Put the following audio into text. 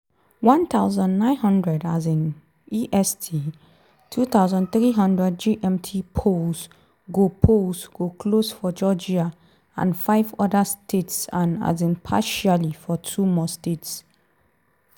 1900 um est (2300 gmt) - polls go polls go close for georgia and five oda states and um partially for two more states.